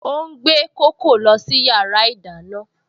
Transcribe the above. Ó ń gbé kókò lọ sí yàrá ìdáná